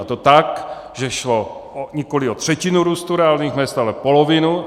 A to tak, že šlo nikoli o třetinu růstu reálných mezd, ale polovinu.